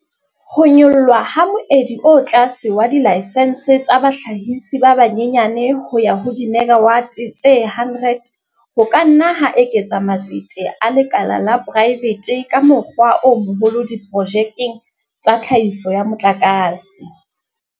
Ho nyollwa ha moedi o tlase wa dilaksense tsa bahlahisi ba banyenyane ho ya ho dimegawate tse 100 ho ka nna ha eketsa matsete a lekala la poraefete ka mokgwa o moholo diprojekteng tsa tlhahiso ya motlakase.